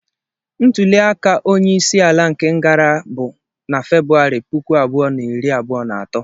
Ntuli aka onye isi ala nke gara bụ na Febụwarị puku abụọ na iri abụọ na atọ.